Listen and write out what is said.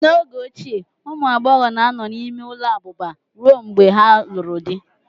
N'oge ochie, ụmụ agbọghọ na-anọ n'ime ụlọ abụba ruo mgbe ha lụrụ di